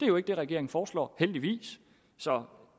jo ikke det regeringen foreslår heldigvis så